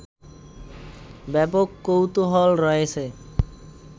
ব্যাপক কৌতুহল রয়েছে